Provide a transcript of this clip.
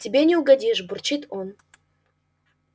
тебе не угодишь бурчит он